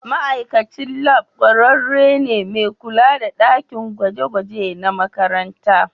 ma'aikacin lab kwararre ne mai kula da dakin gwaje-gwaje na makaranta